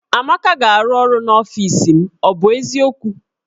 Amaka ga-arụ ọrụ n'ọfis m, ọ bụ eziokwu?